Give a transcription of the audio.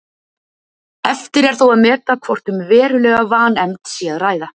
Eftir er þó að meta hvort um verulega vanefnd sé að ræða.